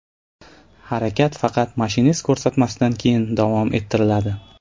Harakat faqat mashinist ko‘rsatmasidan keyin davom ettiriladi.